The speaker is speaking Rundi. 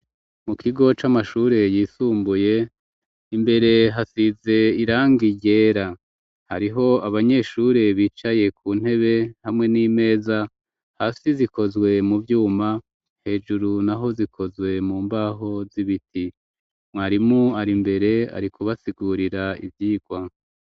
Mu kigo c'amashure yisumbuye, imbere hasize irangi ryera. Hariho abanyeshure bicaye ku ntebe hamwe n'imeza, hasi zikozwe mu vyuma, hejuru naho zikozwe mu mbaho z'ibiti. Mwarimu ari mbere ari kubasigurira ivyirwa.